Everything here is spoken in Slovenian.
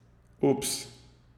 Ups!